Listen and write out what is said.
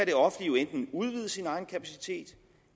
det offentlige jo enten udvide sin egen kapacitet